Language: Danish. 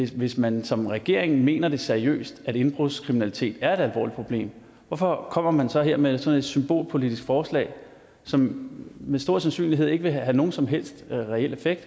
hvis man som regering mener det seriøst altså at indbrudskriminalitet er et alvorligt problem hvorfor kommer man så her med sådan et symbolpolitisk forslag som med stor sandsynlighed ikke vil have nogen som helst reel effekt